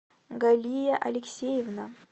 галия алексеевна